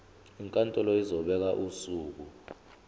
inkantolo izobeka usuku